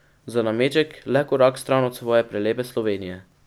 Za nameček le korak stran od svoje prelepe Slovenije.